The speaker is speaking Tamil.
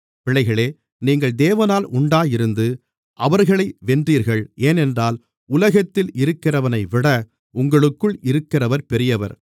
பிள்ளைகளே நீங்கள் தேவனால் உண்டாயிருந்து அவர்களை வென்றீர்கள் ஏனென்றால் உலகத்தில் இருக்கிறவனைவிட உங்களுக்குள் இருக்கிறவர் பெரியவர்